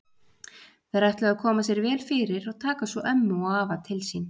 Þeir ætluðu að koma sér vel fyrir og taka svo ömmu og afa til sín.